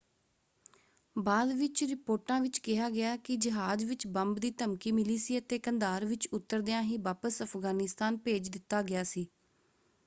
ਬਾਅਦ ਵਿੱਚ ਰਿਪੋਰਟਾਂ ਵਿੱਚ ਕਿਹਾ ਗਿਆ ਕਿ ਜਹਾਜ਼ ਵਿੱਚ ਬੰਬ ਦੀ ਧਮਕੀ ਮਿਲੀ ਸੀ ਅਤੇ ਕੰਧਾਰ ਵਿੱਚ ਉਤਰਦਿਆਂ ਹੀ ਵਾਪਸ ਅਫ਼ਗਾਨਿਸਤਾਨ ਭੇਜ ਦਿੱਤਾ ਗਿਆ ਸੀ।